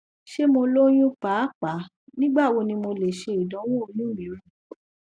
ṣe mo loyun paapaa nigbawo ni mo le ṣe idanwo oyun miiran